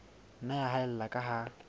nna ya haella ka ha